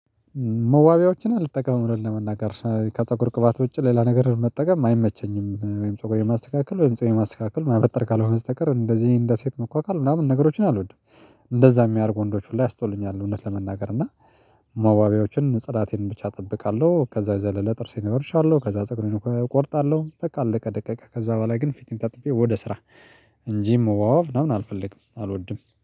መዋቢያዎችን አልተጠቀምም እዉነት ለመናገር ከፀጉር ቅባት ውጪ ሌላ ነገር መጠቀም አይመቸኝም ወይም ፀጉር የማስተካከል ወይም ፀጉር የማስተካከል ማበጠር ካልሆነ ስተቀር እንደዚህ እንደ ሴት መኳኳል ምናምን ነገሮችን አልወድም። እንደዛ የሚያደርጉ ወንዶች ሁላ ያስጠሉኛል እውነት ለመናገር እና መዋቢያዎችን ጽዳቴን ብቻ እጠብቃለሁ። ከዛ የዘለለ ጥርሴ ነው እቦሻለሁ ከዛ ፀጉሬው እቆርጣለሁ በቃ አለቀ። ደቀቀ ከዛ በኋላ ግን ፊቴን ታጥቤ ወደ ስራ እንጂ ወዋዋብ ምናምን አልፈልግም። አልወድም።